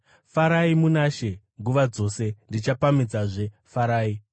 Farai muna She nguva dzose. Ndichapamhidzazve: Farai!